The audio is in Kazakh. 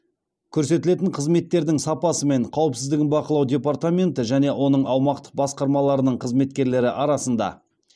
көрсетілетін қызметтердің сапасы мен қауіпсіздігін бақылау департаменті және оның аумақтық басқармаларының қызметкерлері арасында